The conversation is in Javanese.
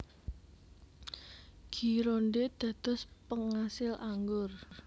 Gironde dados pengasil anggur